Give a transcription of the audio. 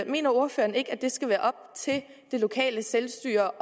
mener ordføreren ikke at det skal være op til det det lokale selvstyre